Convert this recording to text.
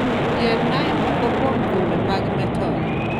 Yiernae moko kuom thumbe mag metal